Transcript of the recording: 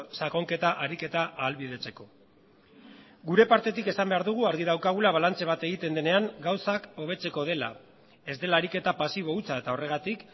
sakonketa ariketa ahalbidetzeko gure partetik esan behar dugu argi daukagula balantze bat egiten denean gauzak hobetzeko dela ez dela ariketa pasibo hutsa eta horregatik